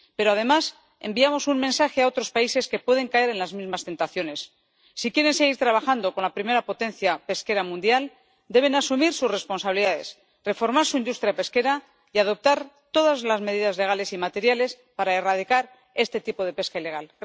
pero, además, enviamos un mensaje a otros países que pueden caer en las mismas tentaciones si quieren seguir trabajando con la primera potencia pesquera mundial, deben asumir sus responsabilidades, reformar su industria pesquera y adoptar todas las medidas legales y materiales para erradicar este tipo de pesca ilegal.